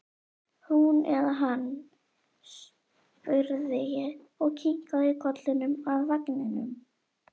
Hún eða hann? spurði ég og kinkaði kollinum að vagninum.